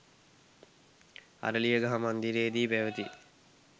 අරලියගහ මන්දිරයේදී පැවති